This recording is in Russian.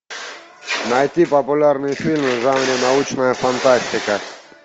найти популярные фильмы в жанре научная фантастика